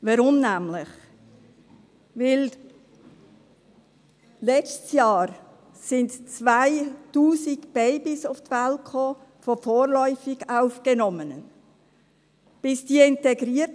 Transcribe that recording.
Warum denn? – Weil letztes Jahr 2000 Babys von vorläufig Aufgenommenen zur Welt kamen.